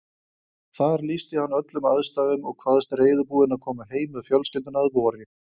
Þar lýsti hann öllum aðstæðum og kvaðst reiðubúinn að koma heim með fjölskylduna að vori.